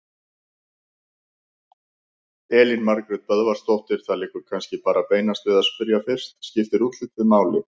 Elín Margrét Böðvarsdóttir: Það liggur kannski bara beinast við að spyrja fyrst: Skiptir útlitið máli?